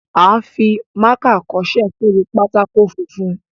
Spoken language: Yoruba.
A ń fi mákà kọṣẹ́ sórí pátákó funfun.